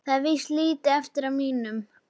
Það er víst lítið eftir af mínum!